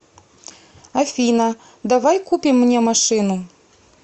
афина давай купим мне машину